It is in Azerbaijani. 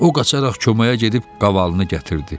O qaçaraq köməyə gedib qavalını gətirdi.